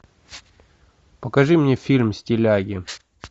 покажи мне фильм стиляги